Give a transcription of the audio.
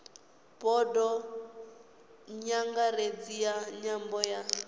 bodo nyangaredzi ya nyambo ya